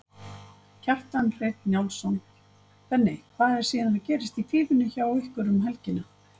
Kjartan Hreinn Njálsson: Benni, hvað er síðan gerast í Fífunni hjá ykkur um helgina?